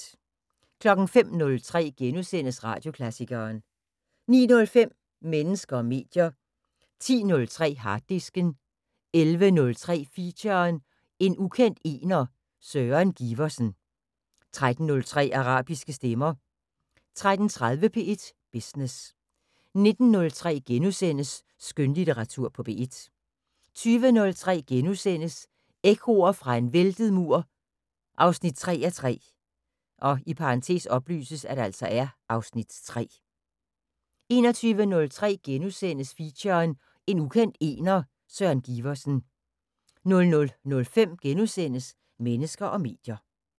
05:03: Radioklassikeren * 09:05: Mennesker og medier 10:03: Harddisken 11:03: Feature: En ukendt ener, Søren Giversen 13:03: Arabiske stemmer 13:30: P1 Business 19:03: Skønlitteratur på P1 * 20:03: Ekkoer fra en væltet mur 3:3 (Afs. 3)* 21:03: Feature: En ukendt ener, Søren Giversen * 00:05: Mennesker og medier *